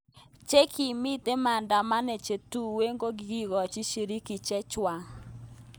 Chengimiten maadamano chetuwen kokikikochi shirki chechwang.